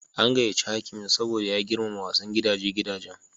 An gayace hakimin Sabo ya girmama wasan gidaje gidajen.